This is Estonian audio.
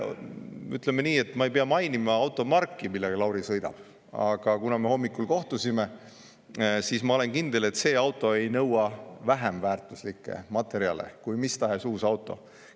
Ütleme nii, et ma ei pea mainima automarki, millega Lauri sõidab, aga kuna me hommikul kohtusime, siis ma olen kindel, et see auto ei nõua vähemväärtuslikke materjale kui mis tahes uus auto.